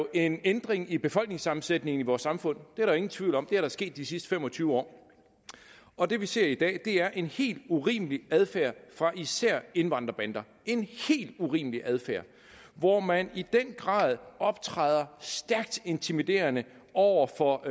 en ændring i befolkningssammensætningen i vores samfund det er der jo ingen tvivl om det er der sket i de sidste fem og tyve år og det vi ser i dag er en helt urimelig adfærd af især indvandrerbander en helt urimelig adfærd hvor man i den grad optræder intimiderende over for